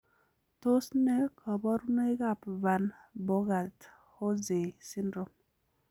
Tos nee koborunoikab Van Bogaert Hozay syndrome?